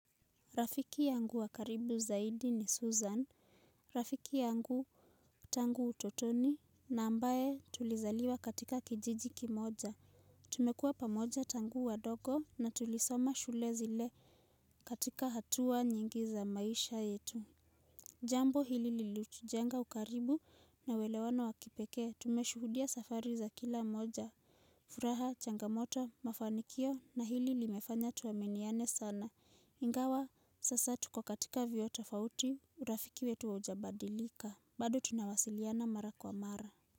Rafiki yangu wa karibu zaidi ni Susan. Rafiki yangu tangu utotoni na ambaye tulizaliwa katika kijiji kimoja. Tumekua pamoja tangu wadogo na tulisoma shule zile katika hatua nyingi za maisha yetu. Jambo hili lilutujenga ukaribu na uwelewano wakipekee tumeshuhudia safari za kila mmoja furaha, changamoto, mafanikio na hili limefanya tuaminiane sana. Ingawa sasa tuko katika vyuo tofauti urafiki wetu haujabadilika bado tunawasiliana mara kwa mara.